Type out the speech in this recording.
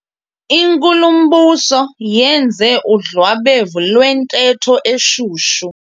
Inkulumbuso yenze udlwabevu lwentetho eshushu.